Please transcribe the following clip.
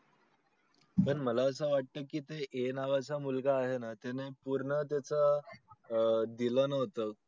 पण मला असं वाट ते नावा चा मुलगा आहे ना त्याने पूर्ण त्याच दिल नव्हत